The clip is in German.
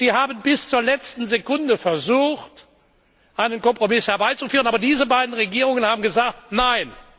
Sie haben bis zur letzten Sekunde versucht, einen Kompromiss herbeizuführen, aber diese beiden Regierungen haben gesagt Nein!